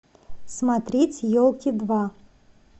смотреть елки два